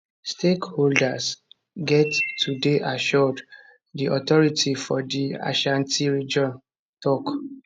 stakeholders get to dey assured di authority for di ashanti region tok